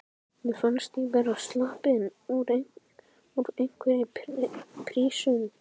Mér fannst ég vera sloppin úr einhverri prísund.